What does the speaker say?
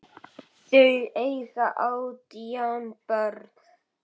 Þau eiga átján börn.